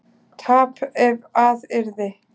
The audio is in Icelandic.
tap ef að yrði